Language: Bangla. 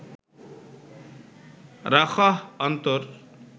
রাখহ অন্তর